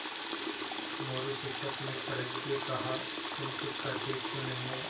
मोरू शिक्षक ने कड़क के कहा तुम कुछ करते क्यों नहीं हो